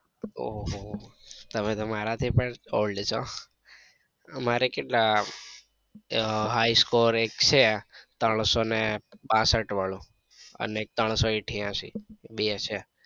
ઓહોહો તમે તો મારા થી પણ old છો મારે કેટલા high score એક છે ત્રણસો ને પાસઠ વાળો અને એક ત્રણસો ઇથિયાંસી બે છે.